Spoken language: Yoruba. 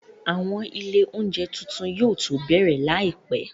Àwọn ilé oúnjẹ tuntun yóò tó bẹ̀rẹ̀ láìpẹ́